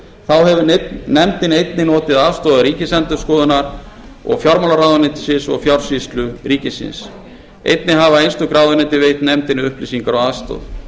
hvívetna þá hefur nefndin einnig notið aðstoðar ríkisendurskoðunar og fjármálaráðuneytis einnig hafa einstök ráðuneyti veitt nefndinni upplýsingar og aðstoð